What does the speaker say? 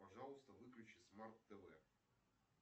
пожалуйста выключи смарт тв